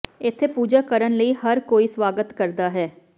ਇੱਥੇ ਪੂਜਾ ਕਰਨ ਲਈ ਹਰ ਕੋਈ ਸਵਾਗਤ ਕਰਦਾ ਹੈ